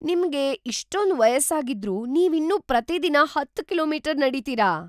ನಿಮ್ಗೆ ಇಷ್ಟೊಂದ್ ವಯಸ್ಸಾಗಿದ್ರೂ ನೀವಿನ್ನೂ ಪ್ರತಿದಿನ ಹತ್ತು ಕಿಲೋ ಮೀಟರ್ ನಡೀತೀರಾ?